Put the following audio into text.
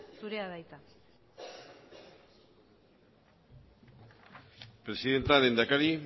zurea da hitza presidenta lehendakari